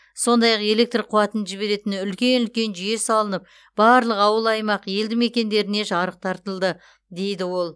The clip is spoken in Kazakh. сондай ақ электр қуатын жіберетін үлкен үлкен жүйе салынып барлық ауыл аймақ елді мекендеріне жарық тартылды дейді ол